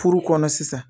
Furu kɔnɔ sisan